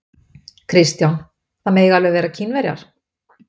Kristján: Það mega alveg vera Kínverjar?